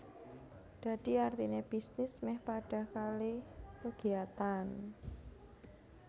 Dadi artine bisnis meh padha kalih kegiatan